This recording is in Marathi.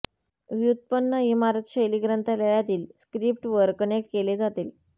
व्युत्पन्न इमारत शैली ग्रंथालयातील स्क्रिप्ट वर कनेक्ट केले जातील